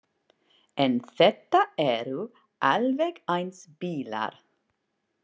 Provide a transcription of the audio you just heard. En þetta eru alveg eins bílar.